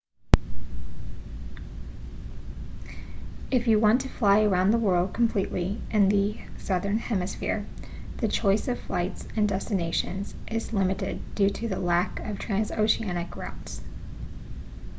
if you want to fly around the world completely in the southern hemisphere the choice of flights and destinations is limited due to the lack of transoceanic routes